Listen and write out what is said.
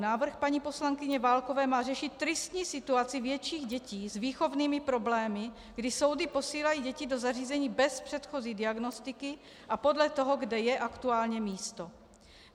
Návrh paní poslankyně Válkové má řešit tristní situaci větších dětí s výchovnými problémy, kdy soudy posílají děti do zařízení bez předchozí diagnostiky a podle toho, kde je aktuálně místo.